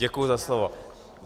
Děkuji za slovo.